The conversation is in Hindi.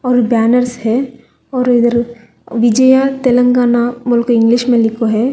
और बैनर्स है और इधर विजया तेलंगाना बोल के इंग्लिश में लिखो है।